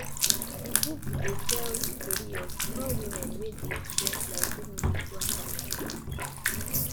di book dey tell di tori of four women wey dey experience lives wey no dey go according to plan